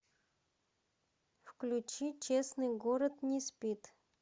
включи честный город не спит